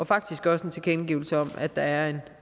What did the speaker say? faktisk også en tilkendegivelse af at der er